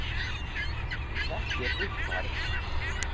Þú þekkir Ríkharð